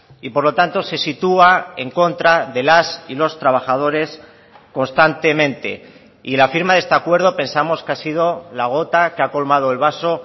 y por lo tanto se sitúa en contra de las y los trabajadores constantemente y la firma de este acuerdo pensamos que ha sido la gota que ha colmado el vaso